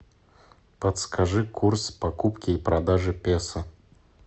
подскажи курс покупки и продажи песо